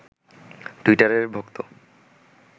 টুইটারে ভক্ত